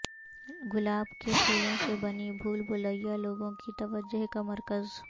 گلاب کے پھولوں سے بنی بھول بھلیاں لوگوں کی توجہ کا مرکز